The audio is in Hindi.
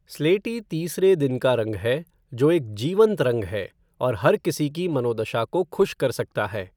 स्लेटी तीसरे दिन का रंग है, जो एक जीवंत रंग है और हर किसी की मनोदशा को खुश कर सकता है।